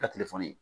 Ka telefɔni